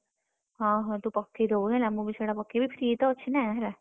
ହଁ ହଁ ତୁ ପକେଇଦବୁ ହେଲା ମୁଁ ବି ସେଇଟା ପକେଇବି free ତ ଅଛିନା ହେଲା।